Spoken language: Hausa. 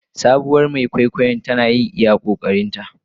Sabuwar Mai kwaikwayon tana yin iya ƙoƙarinta.